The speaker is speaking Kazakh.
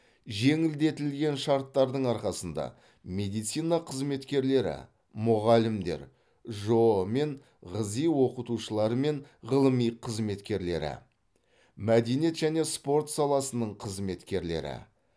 жеңілдетілген шарттардың арқасында медицина қызметкерлері мұғалімдер жоо мен ғзи оқытушылары мен ғылыми қызметкерлері мәдениет және спорт саласының қызметкерлері